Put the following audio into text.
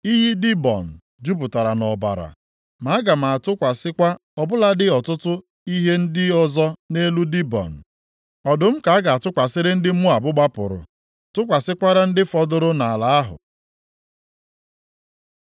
Iyi Dibọn jupụtara nʼọbara, ma aga m atụkwasịkwa ọ bụladị ọtụtụ ihe ndị ọzọ nʼelu Dibọn! Ọdụm ka a ga-atụkwasịrị ndị Moab + 15:9 \+xt 2Ez 17:25; Jer 50:17\+xt* gbapụrụ tụkwasịkwara ndị fọdụrụ nʼala ahụ.